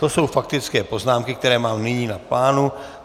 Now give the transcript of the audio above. To jsou faktické poznámky, které mám nyní v plánu.